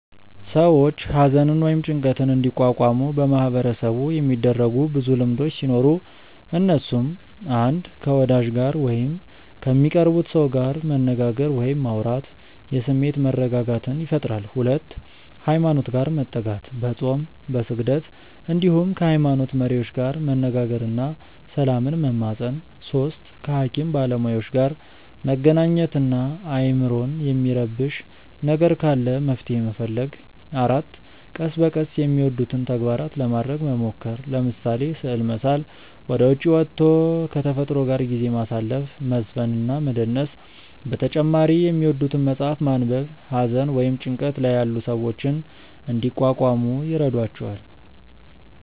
ሰዎች ሃዘንን ወይም ጭንቀትን እንዲቋቋሙ በማህበረሰቡ የሚደረጉ ብዙ ልምዶቹ ሲኖሩ እነሱም፣ 1. ከ ወዳጅ ጋር ወይም ከሚቀርቡት ሰው ጋር መነጋገር ወይም ማውራት የስሜት መረጋጋትን ይፈጥራል 2. ሃይማኖት ጋር መጠጋት፦ በፆም፣ በስግደት እንዲሁም ከ ሃይሞኖት መሪዎች ጋር መነጋገር እና ሰላምን መማፀን 3. ከ ሃኪም ባለሞያዎች ጋር መገናኘት እና አይምሮን የሚረብሽ ነገር ካለ መፍትሔ መፈለግ 4. ቀስ በቀስ የሚወዱትን ተግባራት ለማረግ መሞከር፤ ለምሳሌ፦ ስዕል መሳል፣ ወደ ዉጪ ወቶ ከ ተፈጥሮ ጋር ጊዜ ማሳለፍ፣ መዝፈን እና መደነስ በተጨማሪ የሚወዱትን መፅሐፍ ማንበብ ሃዘን ወይም ጭንቀት ላይ ያሉ ሰዎችን እንዲቋቋሙ ይረዷቸዋል።